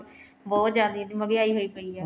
ਬਹੁਤ ਜਿਆਦਾ ਮਹਿੰਗਿਆਈ ਹੋਈ ਪਈ ਐ